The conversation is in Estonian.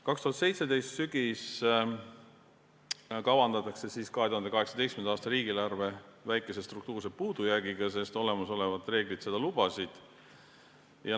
2017. aasta sügisel kavandati 2018. aasta riigieelarve väikese struktuurse puudujäägiga, sest olemasolevad reeglid seda lubasid.